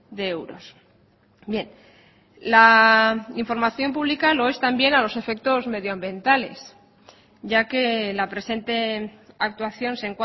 de euros bien la información pública lo es también a los efectos medio ambientales ya que la presente actuación se